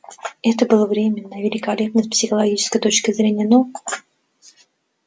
это было временно и великолепно с психологической точки зрения но